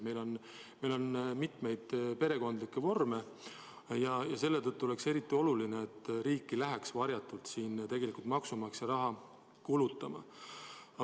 Meil on mitmesuguseid perekondade vorme ja selle tõttu oleks eriti oluline, et riik ei läheks siin varjatult maksumaksja raha kulutama.